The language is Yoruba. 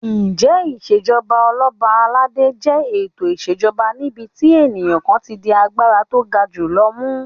Ǹjẹ́ Ìṣèjọba Ọlọ́ba aládé jẹ́ ètò ìṣèjoba níbi tí ènìyàn kan ti di agbára tó ga jù lọ mú?